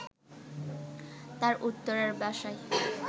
তার উত্তরার বাসায়